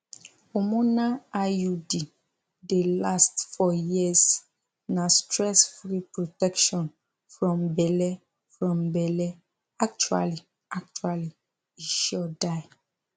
hormonal iud dey last for years na stressfree protection from belle from belle actually actually e sure die